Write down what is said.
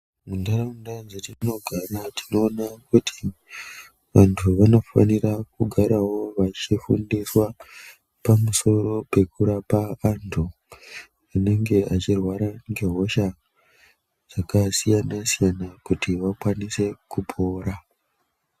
Mundaraunda dzatinogara, tinoona kuti vantu vanofanira kugarawo vachifundiswa pamusoro pekurapa antu anenge echirwara ngehosha dzakasiyana-siyana kuti vakwanise kupora.